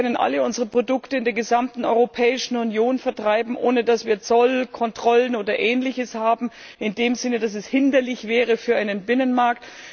Wir können alle unsere Produkte in der gesamten Europäischen Union vertreiben, ohne dass wir Zollkontrollen oder ähnliches haben, in dem Sinne, dass es hinderlich wäre für einen Binnenmarkt.